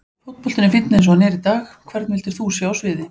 Fótboltinn er fínn eins og hann er í dag Hvern vildir þú sjá á sviði?